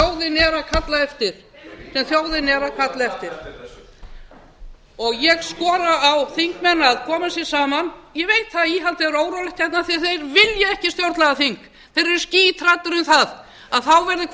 er að kalla eftir sem þjóðin er að kalla eftir ég skora á þingmenn að koma sér saman ég veit það að íhaldið er órólegt af því þeir vilja ekki stjórnlagaþing þeir eru skíthræddir um það að þá